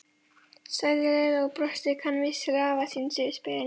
sagði Lilla og brosti kankvís til afa síns yfir spilin.